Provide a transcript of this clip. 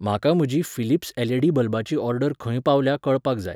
म्हाका म्हजी Philips LED बल्बाची ऑर्डर खंय पावल्या कळपाक जाय